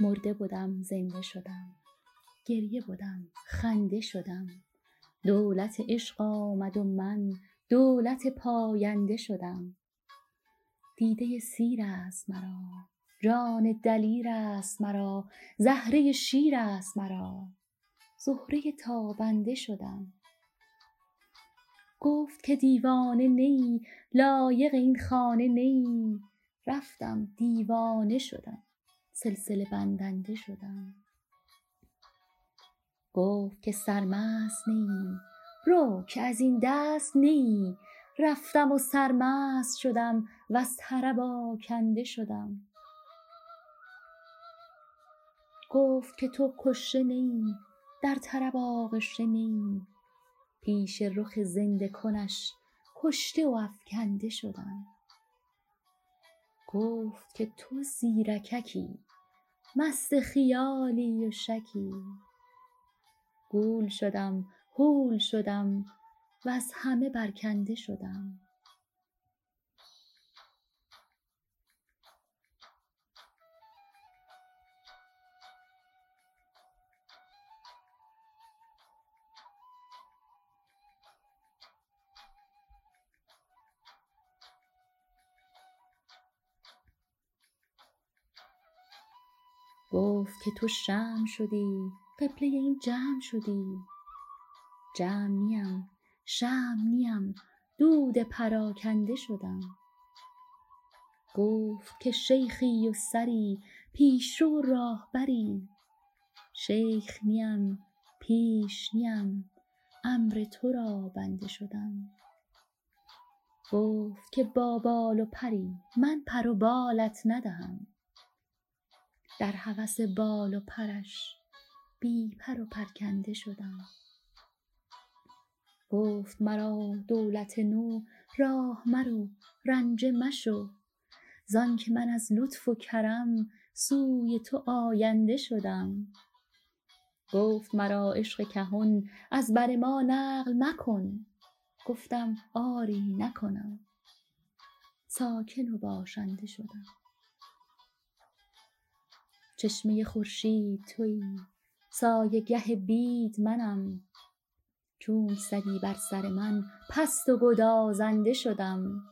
مرده بدم زنده شدم گریه بدم خنده شدم دولت عشق آمد و من دولت پاینده شدم دیده سیر است مرا جان دلیر است مرا زهره شیر است مرا زهره تابنده شدم گفت که دیوانه نه ای لایق این خانه نه ای رفتم دیوانه شدم سلسله بندنده شدم گفت که سرمست نه ای رو که از این دست نه ای رفتم و سرمست شدم وز طرب آکنده شدم گفت که تو کشته نه ای در طرب آغشته نه ای پیش رخ زنده کنش کشته و افکنده شدم گفت که تو زیرککی مست خیالی و شکی گول شدم هول شدم وز همه برکنده شدم گفت که تو شمع شدی قبله این جمع شدی جمع نیم شمع نیم دود پراکنده شدم گفت که شیخی و سری پیش رو و راهبری شیخ نیم پیش نیم امر تو را بنده شدم گفت که با بال و پری من پر و بالت ندهم در هوس بال و پرش بی پر و پرکنده شدم گفت مرا دولت نو راه مرو رنجه مشو زانک من از لطف و کرم سوی تو آینده شدم گفت مرا عشق کهن از بر ما نقل مکن گفتم آری نکنم ساکن و باشنده شدم چشمه خورشید تویی سایه گه بید منم چونک زدی بر سر من پست و گدازنده شدم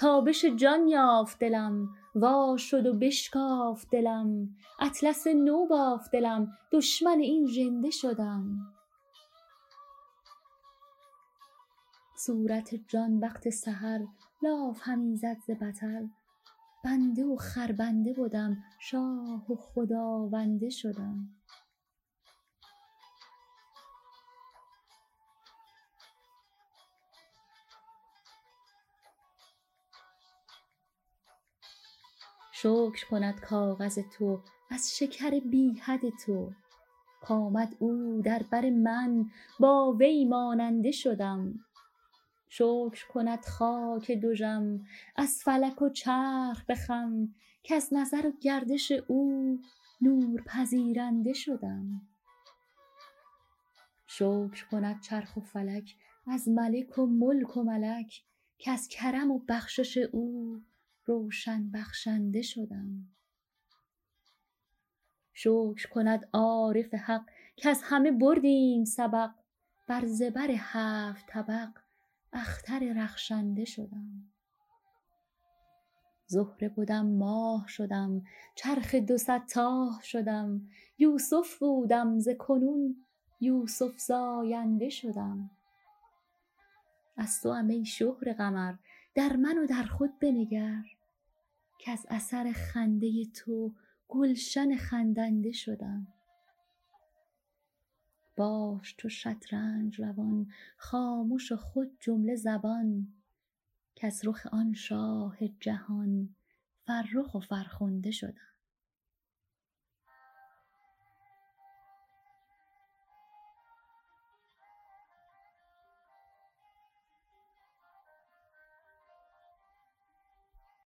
تابش جان یافت دلم وا شد و بشکافت دلم اطلس نو بافت دلم دشمن این ژنده شدم صورت جان وقت سحر لاف همی زد ز بطر بنده و خربنده بدم شاه و خداونده شدم شکر کند کاغذ تو از شکر بی حد تو کآمد او در بر من با وی ماننده شدم شکر کند خاک دژم از فلک و چرخ به خم کز نظر و گردش او نور پذیرنده شدم شکر کند چرخ فلک از ملک و ملک و ملک کز کرم و بخشش او روشن بخشنده شدم شکر کند عارف حق کز همه بردیم سبق بر زبر هفت طبق اختر رخشنده شدم زهره بدم ماه شدم چرخ دو صد تاه شدم یوسف بودم ز کنون یوسف زاینده شدم از توام ای شهره قمر در من و در خود بنگر کز اثر خنده تو گلشن خندنده شدم باش چو شطرنج روان خامش و خود جمله زبان کز رخ آن شاه جهان فرخ و فرخنده شدم